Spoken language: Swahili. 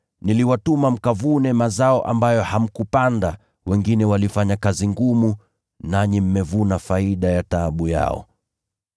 Niliwatuma mkavune mazao ambayo hamkupanda, wengine walifanya kazi ngumu, nanyi mmevuna faida ya taabu yao.”